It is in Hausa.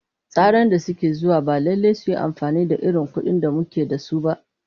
Tsaran da ke zuwa ba lallai su yi amfani da irin kuɗin da muke da su ba.